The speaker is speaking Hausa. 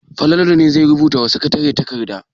Falalu ne zai rubuta wa sakatare takarda.